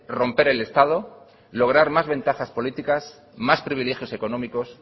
romper el estado lograr más ventajas políticas más privilegios económicos